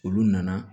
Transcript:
Olu nana